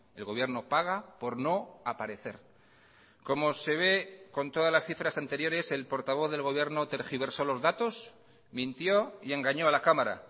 el gobierno paga por no aparecer como se ve con todas las cifras anteriores el portavoz del gobierno tergiversó los datos mintió y engañó a la cámara